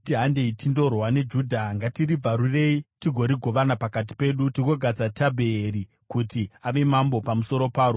“Handei tindorwa neJudha; ngatiribvarurei tigorigovana pakati pedu, tigogadza Tabheeri kuti ave mambo pamusoro paro.”